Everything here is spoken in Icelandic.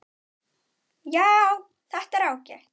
Já, þetta er ágætt.